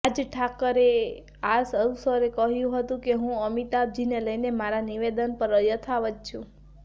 રાજ ઠાકરેએ આ અવસરે કહ્યું હતું કે હું અમિતાભજીને લઇને મારા નિવેદન પર યથાવત છું